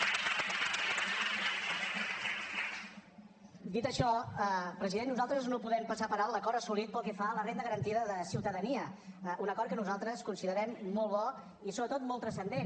dit això president nosaltres no podem passar per alt l’acord assolit pel que fa a la renda garantida de ciutadania un acord que nosaltres considerem molt bo i sobretot molt transcendent